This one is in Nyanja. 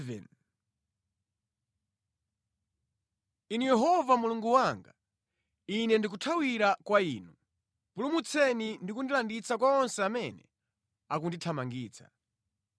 Inu Yehova Mulungu wanga, Ine ndikuthawira kwa Inu; pulumutseni ndi kundilanditsa kwa onse amene akundithamangitsa,